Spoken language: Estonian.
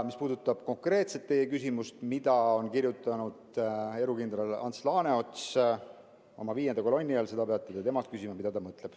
Mis puudutab teie konkreetset küsimust, mida on silmas pidanud erukindral Ants Laaneots oma viienda kolonni all, siis seda peate temalt küsima, mida ta mõtleb.